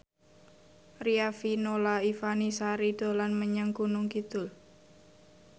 Riafinola Ifani Sari dolan menyang Gunung Kidul